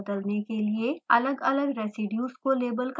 अलगअलग residues को label करने के लिए